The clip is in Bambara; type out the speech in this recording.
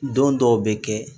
Don dɔw bɛ kɛ